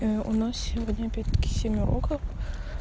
у нас сегодня предки семь уроков